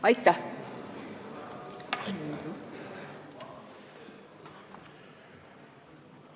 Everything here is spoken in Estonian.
Aitäh!